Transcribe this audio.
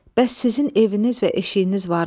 Bəs sizin eviniz və eşiyiniz varmı?